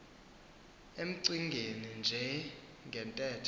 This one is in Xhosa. emcingeni nje ngentethe